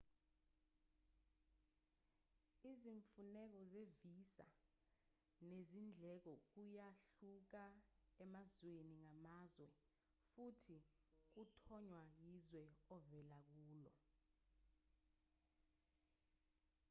izimfuneko ze-visa nezindleko kuyahluka emazweni ngamazwe futhi kuthonywa yizwe ovela kulo